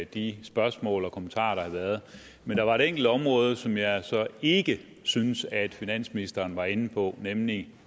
de spørgsmål og kommentarer der har været men der er et enkelt område som jeg så ikke synes at finansministeren var inde på nemlig